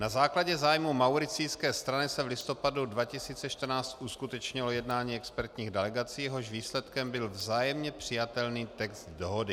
Na základě zájmu mauricijské strany se v listopadu 2014 uskutečnilo jednání expertních delegací, jehož výsledkem byl vzájemně přijatelný text dohody.